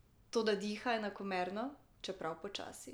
Toda diha enakomerno, čeprav počasi.